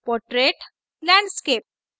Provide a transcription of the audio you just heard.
portrait landscape